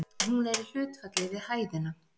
Hún er í hlutfalli við hæðina.